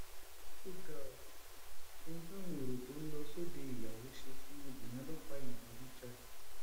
ó ga ọ ohun táwọn èrò tó ń lọ sóde ìyàwó ṣe fún obìnrin ọlọpàá yìí burú jáì